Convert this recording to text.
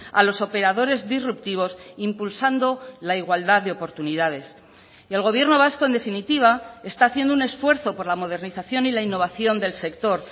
a los operadores disruptivos impulsando la igualdad de oportunidades y el gobierno vasco en definitiva está haciendo un esfuerzo por la modernización y la innovación del sector